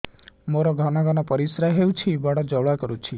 ମୋର ଘନ ଘନ ପରିଶ୍ରା ହେଉଛି ଏବଂ ଜ୍ୱାଳା କରୁଛି